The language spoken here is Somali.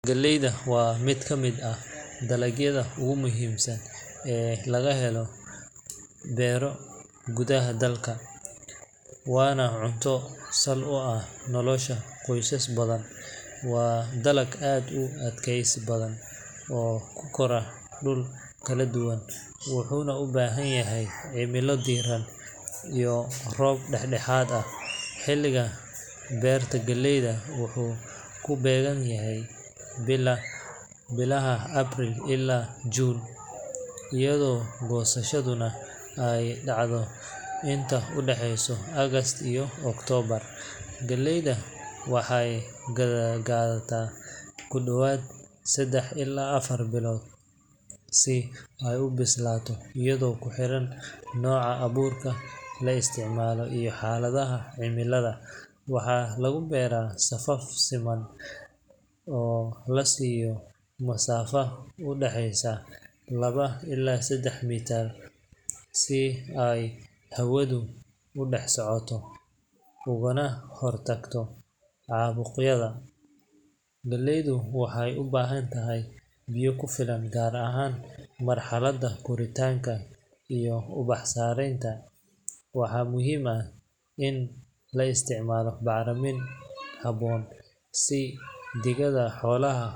Galleyda waa mid ka mid ah dalagyada ugu muhiimsan ee laga beero gudaha dalka, waana cunto sal u ah nolosha qoysas badan. Waa dalag aad u adkaysi badan oo ku kora dhul kala duwan, wuxuuna u baahan yahay cimilo diiran iyo roob dhexdhexaad ah. Xilliga beerta galleyda wuxuu ku beegan yahay bilaha April ilaa June, iyadoo goosashaduna ay dhacdo inta u dhaxaysa August iyo October. Galleyda waxay qaadataa ku dhowaad saddex ilaa afar bilood si ay u bislaato iyadoo ku xiran nooca abuurka la isticmaalay iyo xaaladaha cimilada. Waxaa lagu beeraa safaf siman oo la siiyo masaafada u dhexaysa laba ilaa saddex mitir si ay hawadu u dhex socoto ugana hortagto caabuqyada. Galleyda waxay u baahan tahay biyo ku filan gaar ahaan marxaladda koritaanka iyo ubax sameynta. Waxaana muhiim ah in la isticmaalo bacrimin habboon sida digada xoolaha